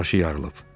Başı yarılıb.